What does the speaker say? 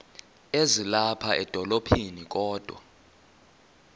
ezilapha edolophini kodwa